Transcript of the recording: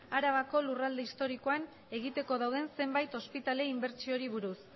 arabako lurralde historikoan egiteko dauden zenbait ospitale inbertsiori buruz